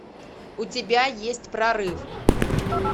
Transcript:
у тебя есть прорыв